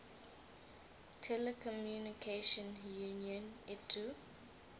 telecommunication union itu